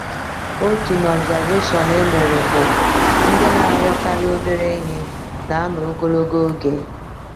Otu n’observaeshọn e mere bụ: “Ndị na-arịọkarị obere ihe na-anọ ogologo oge.”